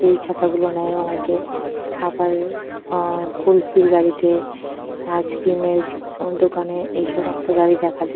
এই ছাতা গুলো নেয় অনেকে। আবার আ কুলফির গাড়িতে আইসক্রিমের দোকানে এই সমস্ত গাড়ি দেখা যায়।